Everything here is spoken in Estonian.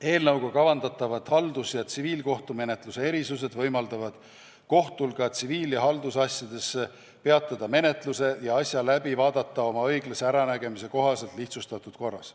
Eelnõuga kavandatavad haldus- ja tsiviilkohtumenetluse erisused võimaldavad kohtul ka tsiviil- ja haldusasjades menetluse peatada ja asja läbi vaadata oma õiglase äranägemise kohaselt lihtsustatud korras.